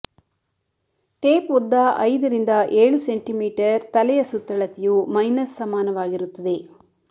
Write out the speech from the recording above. tape ಉದ್ದ ಐದರಿಂದ ಏಳು ಸೆಂಟಿಮೀಟರ್ ತಲೆಯ ಸುತ್ತಳತೆಯು ಮೈನಸ್ ಸಮಾನವಾಗಿರುತ್ತದೆ